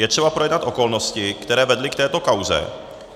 Je třeba projednat okolnosti, které vedly k této kauze.